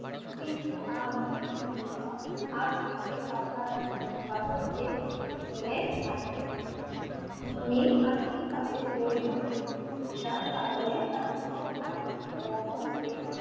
কিন্তু আব্জীর পিসিমা আব্জিকে নিয়ে আসেন। উনি আর্থিক ভাবে দরিদ্র ছিল যার কারনে তার ছোট ভাই ও বোন কে,